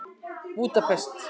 Búdapest